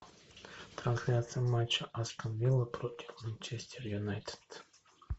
трансляция матча астон вилла против манчестер юнайтед